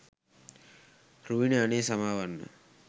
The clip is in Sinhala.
රුවිනි අනේ සමාවෙන්න